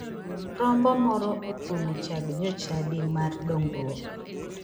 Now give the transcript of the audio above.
Rombo moro otuomo chag jochadi mar dongruok